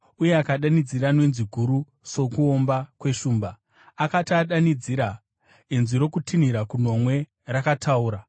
uye akadanidzira nenzwi guru sokuomba kweshumba. Akati adanidzira, inzwi rokutinhira kunomwe rakataura.